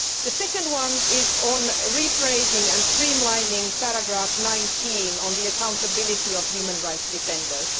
The second one is on rephrasing and streamlining paragraph 19 on the accountability of human rights defenders.